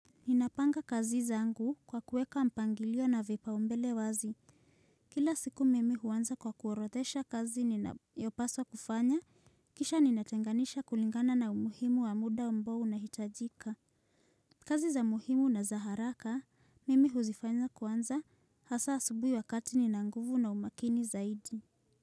Ninapanga kazi zangu kwa kuweka mpangilio na vipaumbele wazi. Kila siku mimi huanza kwa kuorodhesha kazi ninayopaswa kufanya, kisha ninatenganisha kulingana na umuhimu wa muda ambao unahitajika. Kazi za muhimu na za haraka, mimi huzifanya kuanza hasa asubuhi wakati nina nguvu na umakini zaidi.